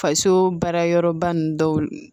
Faso baarayɔrɔba ninnu dɔw